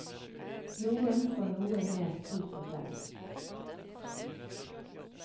Noen får noe mer tid på seg.